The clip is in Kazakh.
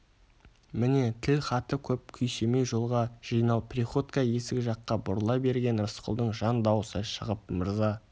міне тілхаты көп күйсемей жолға жинал приходько есік жаққа бұрыла бергенде рысқұлдың жан дауысы шығып мырза